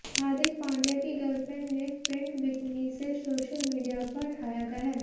हार्दिक पांड्या की गर्लफ्रेंड ने print bikini से सोशल मीडिया पर ढाया कहर